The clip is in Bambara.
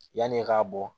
Yanni e k'a bɔ